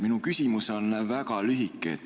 Minu küsimus on väga lühike.